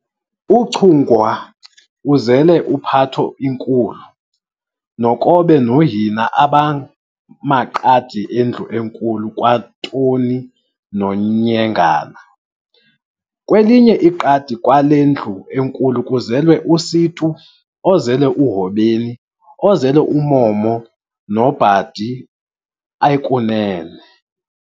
UChungwa uzele uPhatho inkulu, noKobe noHina abamaqadi endlu enkulu kwanoToni noNyengana. Kwelinye iqadi kwale ndlu enkulu kuzelwe uSitu, ozele uHobeni, ozele uMomo, noBhadi ekunene.